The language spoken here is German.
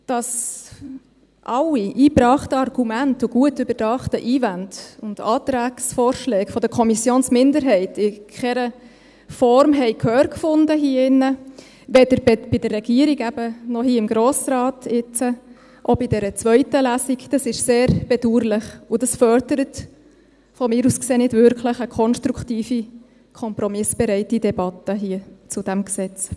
Dass alle eingebrachten Argumente und gut überdachten Einwände sowie Antragsvorschläge der Kommissionsminderheit in keiner Form hier im Saal Gehör fanden, weder bei der Regierung, noch eben jetzt hier im Grossen Rat, auch nicht in dieser zweiten Lesung, ist sehr bedauerlich, und das fördert, meiner Ansicht nach, nicht wirklich eine konstruktive kompromissbereite Debatte hier bei diesem Gesetz.